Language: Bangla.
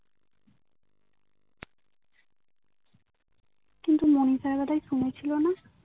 কিন্তু মিনিষার কোথায় শুনেছিলো না